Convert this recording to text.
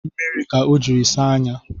Mmiri ka o jiri saa anya